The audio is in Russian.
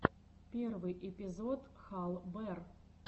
первый эпизод хал бер